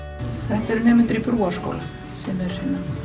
þetta eru nemendur í Brúarskóla sem eru